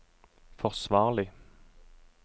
forsvarlig